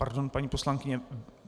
Pardon, paní poslankyně.